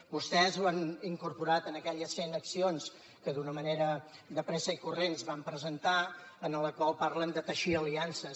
vostès ho han incorporat en aquelles cent accions que d’una manera de pressa i corrents van presentar en les quals parlen de teixir aliances